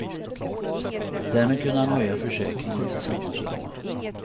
Därmed kunde han höja försäkringen till samma summa.